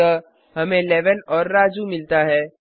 अतः हमें 11 और राजू मिलता है